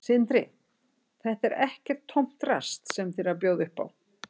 Sindri: Þetta er ekkert tómt drasl sem þið eruð að bjóða upp á?